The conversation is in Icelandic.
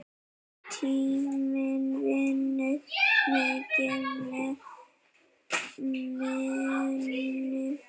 Tíminn vinnur mikið með manni.